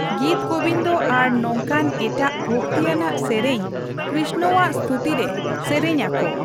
ᱜᱤᱛᱜᱳᱵᱤᱱᱫᱚ ᱟᱨ ᱱᱚᱝᱠᱟᱱ ᱮᱴᱟᱜ ᱵᱷᱚᱠᱛᱤᱭᱟᱱᱟᱜ ᱥᱮᱨᱮᱧ ᱠᱨᱤᱥᱱᱚᱣᱟᱜ ᱥᱛᱩᱛᱤ ᱨᱮ ᱥᱮᱨᱮᱧ ᱟᱠᱚ᱾